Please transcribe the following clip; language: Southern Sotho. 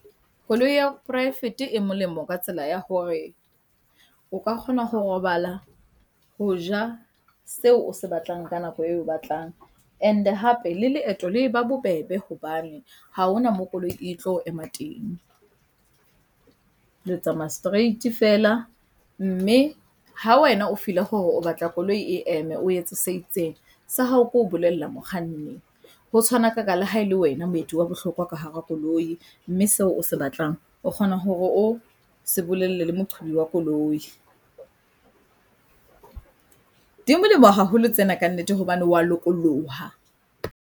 Koloi ya poraefete e molemo ka tsela ya hore o ka kgona ho robala, ho ja seo o se batlang ka nako eo oe batlang and-e hape le leeto le eba bobebe hobane feela ha ona moo koloi e tlo emang teng. Le tsamaya straight-e feela, mme ha wena o feel-a fore o batla hore koloi e eme, o etse se itseng, sa hao ke ho bolella mokganni. Ho tshwanakaka le ha ele wena moeti wa bohlokwa ka hara koloi, mme seo o se batlang o kgona hore o se bolelle le moqhobi wa koloi. Di molemo haholo tsena kannete hobane wa lokolloha.